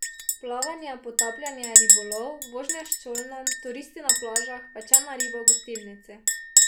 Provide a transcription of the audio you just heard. Plavanje, potapljanje, ribolov, vožnja s čolnom, turisti na plažah, pečena riba v gostilnici.